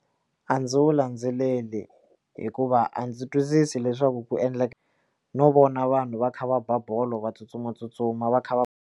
A ndzi wu landzeleli hikuva a ndzi twisisa leswaku ku endleka no vona vanhu va kha va ba bolo va tsutsumatsutsuma va kha va.